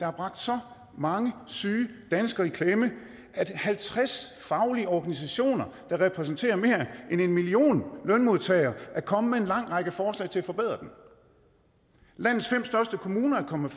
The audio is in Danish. har bragt så mange syge danskere i klemme at halvtreds faglige organisationer der repræsenterer mere end en million lønmodtagere er kommet med en lang række forslag til at forbedre den landets fem største kommuner er kommet